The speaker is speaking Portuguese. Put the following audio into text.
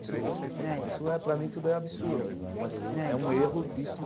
Isso isso é para mim tudo é absurdo, mas é um erro de